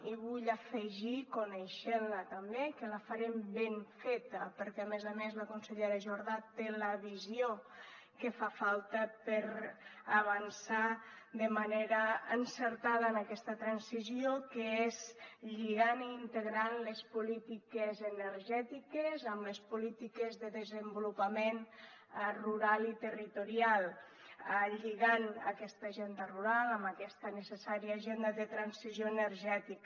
i vull afegir coneixent la també que la farem ben feta perquè a més a més la consellera jordà té la visió que fa falta per avançar de manera encertada en aquesta transició que és lligant i integrant les polítiques energètiques amb les polítiques de desenvolupament rural i territorial lligant aquesta agenda rural amb aquesta necessària agenda de transició energètica